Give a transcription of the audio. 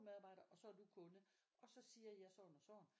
Medarbejder og så er du kunde og så siger jeg sådan og sådan